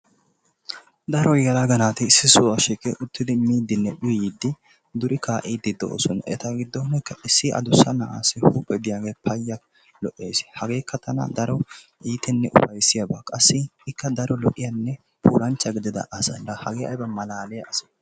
Daro yelaga naati issi sohuwa shiiqi uttidi miidinne uyyidi duri kaa'idi de'oosona. Eta giddon issi addussa na'assi huuphe diyaage payya lo"essi, hagekka tana keehin ufayssiyaaba. Qassi ikka daro lo"iyaanne puulanchcha gidida asa. La hagee aybba malaliyaa ase!